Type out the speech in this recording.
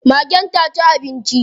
Magen ta ci abinci?